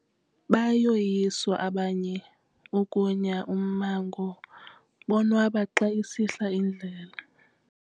Bayoyiswa abanye ukunya ummango bonwaba xa isihla indlela.